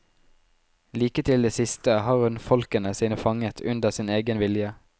Like til det siste har hun folkene sine fanget under sin egen vilje.